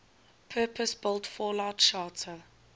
purpose built fallout shelter